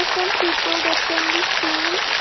some people that can be seen.